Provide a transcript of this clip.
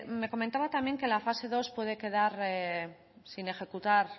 me comentaba también que la fase segundo puede quedar sin ejecutar